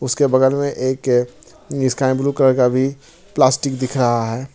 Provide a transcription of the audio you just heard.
इसके बगल में एक स्काई ब्लू कलर का भी प्लास्टिक दिख रहा है।